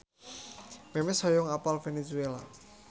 Memes hoyong apal Venezuela